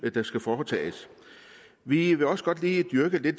der skal foretages vi vil også godt lige dyrke